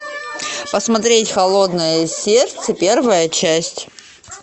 посмотреть холодное сердце первая часть